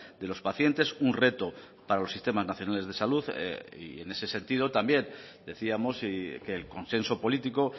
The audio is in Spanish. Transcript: de los pacientes un reto para los sistemas nacionales de salud y en ese sentido también decíamos que el consenso político